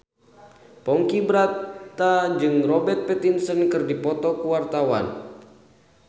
Ponky Brata jeung Robert Pattinson keur dipoto ku wartawan